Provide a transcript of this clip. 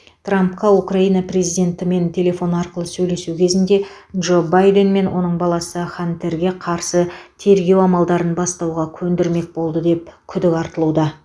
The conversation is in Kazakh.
трампқа украина президентімен телефон арқылы сөйлесу кезінде джо байден мен оның баласы хантерге қарсы тергеу амалдарын бастауға көндірмек болды деп күдік айтылуда